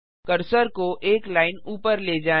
cursor को एक line ऊपर ले जाएँ